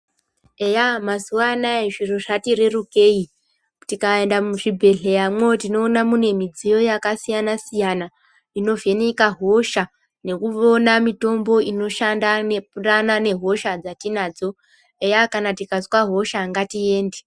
Eya mazuwa anaya zviro zvatirerukei. Tikaenda muzvibhedhleyamwo tinoona mune midziyo yakasiyana-siyana, inovheneka hosha, nekuona mitombo inoshanda nepurana nehosha dzatinadzo. Eya kana tikazwa hosha ngatiende .